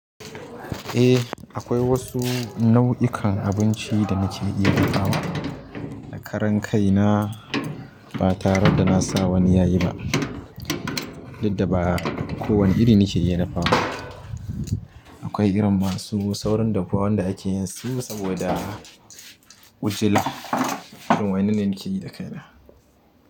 Eh akwai wasu nau'ikan abinci da nake iya dafawa da karen kai na ba tare da na sa wani yayi ba, duk da ba kowani iri nake iya dafawa. Akwai irin masu saurin dafuwa wanda ake yin su saboda ujila. Irin wa'yannan ne nake yi da kai na.